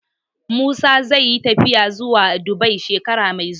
Musa zai yi tafiya zuwa Dubai shekara mai zuwa